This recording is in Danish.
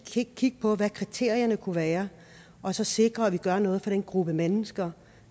kigge på hvad kriterierne kunne være og så sikre at vi gør noget for den gruppe mennesker